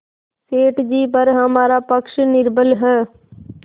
सेठ जीपर हमारा पक्ष निर्बल है